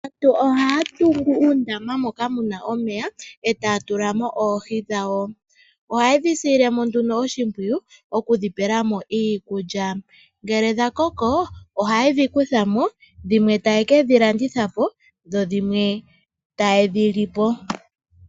Aantu ohaya tungu uundama moka mu na omeya e taya tula mo oohi dhawo. Ohaye dhi silile mo oshimpwiyu okudhi pela mo iikulya. Ngele dha koko ohaye dhi kutha mo dhimwe taye ke dhi landitha po dho dhimwe taye dhi li po.